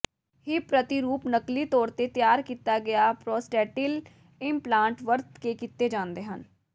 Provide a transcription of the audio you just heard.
hip ਪ੍ਰਤੀਰੂਪ ਨਕਲੀ ਤੌਰ ਤੇ ਤਿਆਰ ਕੀਤਾ ਗਿਆ ਪ੍ਰੋਸਟੇਟੀਲ ਇਮਪਲਾਂਟ ਵਰਤ ਕੇ ਕੀਤੇ ਜਾਂਦੇ ਹਨ